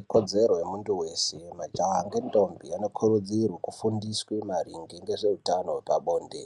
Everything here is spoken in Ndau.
Ikodzero yemundu weshe majaha ngendombi ano kurudzirwa kufundiswe maringe ngezve utano hwezve pabonde.